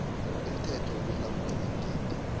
umthetho wokulawulwa kweengidi